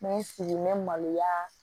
N bɛ n sigi n bɛ maloya